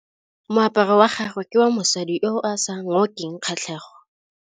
Moaparô wa gagwe ke wa mosadi yo o sa ngôkeng kgatlhegô.